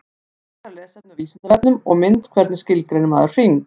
Frekara lesefni á Vísindavefnum og mynd Hvernig skilgreinir maður hring?